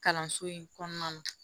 Kalanso in kɔnɔna na